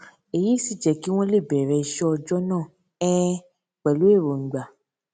èyí sì jé kí wón lè bèrè iṣé ọjó náà um pẹlú èròngbà